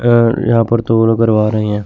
अह यहां पर करवा रही हैं।